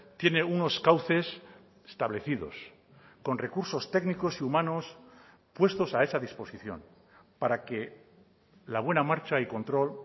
tiene unos cauces establecidos con recursos técnicos y humanos puestos a esa disposición para que la buena marcha y control